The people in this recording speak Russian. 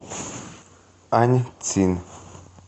аньцин